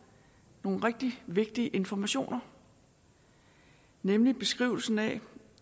nogle rigtig vigtige informationer nemlig beskrivelsen af